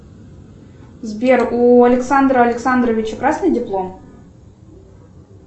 сбер у александра александровича красный диплом